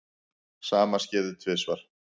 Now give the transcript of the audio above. Sama skeði tvisvar.